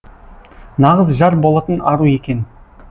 нағыз жар болатын ару екен